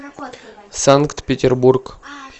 санкт петербург